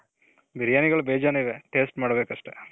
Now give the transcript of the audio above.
ಬಿರಿಯಾನಿಗಳು ಭೇಜಾನ್ ಇವೆ.taste ಮಾಡ್ಬೇಕು ಅಷ್ಟೆ.